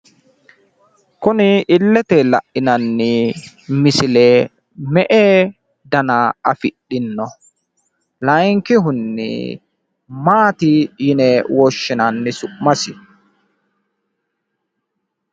Kuni illete la'inanni misile me"e dada afidhino? Layeenkihunni maati yine woshshinanni su'masi?